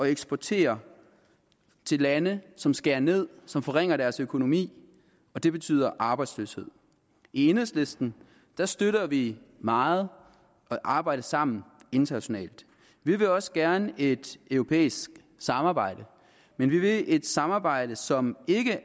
eksportere til lande som skærer ned som forringer deres økonomi og det betyder arbejdsløshed i enhedslisten støtter vi meget at arbejde sammen internationalt vi vil også gerne et europæisk samarbejde men vi vil et samarbejde som ikke